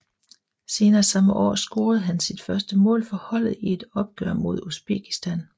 Senere samme år scorede han sit første mål for holdet i et opgør mod Usbekistan